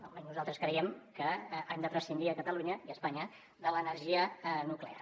almenys nosaltres creiem que hem de prescindir a catalunya i a espanya de l’energia nuclear